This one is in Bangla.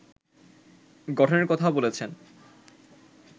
গঠনের কথাও বলেছেন